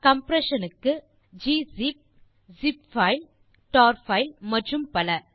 compression க்கு gzip zip file tar file மற்றும் பல